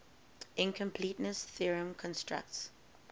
incompleteness theorem constructs